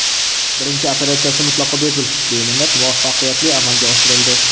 Birinchi operatsiyasi mutlaqo bepul, beminnat, muvaffaqiyatli amalga oshirildi.